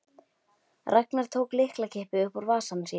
Ragnar tók lyklakippu upp úr vasa sínum.